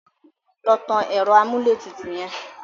Lọ tan ẹ̀rọ amúlétutù yẹn!